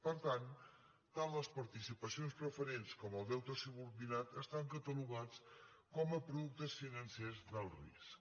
per tant tant les participacions preferents com el deute subordinat estan catalogats com a productes financers d’alt risc